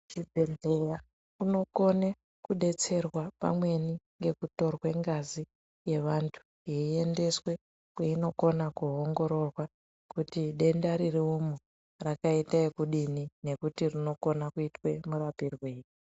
Ku chibhedhleya unokone ku detserwa pamweni ngeku torwe ngazi ye vantu yei endeswe kweino kona ku ongororwa kuti denda riri umu rakaita yekudini nekuti rinokona kuitwe mu rapirwei.